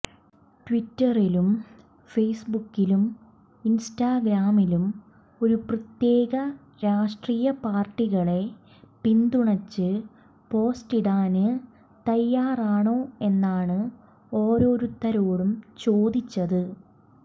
ട്വിറ്ററിലും ഫേസ്ബുക്കിലും ഇന്സ്റ്റാഗ്രാമിലും ഒരു പ്രത്യേക രാഷ്ട്രീയ പാര്ട്ടികളെ പിന്തുണച്ച് പോസ്റ്റിടാന് തയ്യാറാണോ എന്നാണ് ഓരോരുത്തരോടും ചോദിച്ചത്